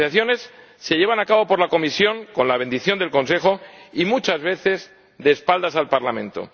Las negociaciones se llevan a cabo por la Comisión, con la bendición del Consejo, y muchas veces de espaldas al Parlamento.